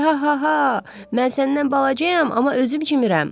Ha-ha-ha, mən səndən balacayam, amma özüm çimirəm.